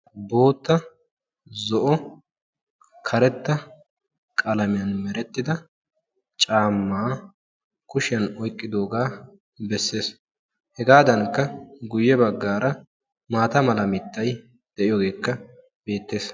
Boota, zo'o, karetta qalamiyan merettida caamma kushiyan oyqqidooga beessees. Hegadankka guyye baggaara maata mala mittay de'iyoogekka beettees.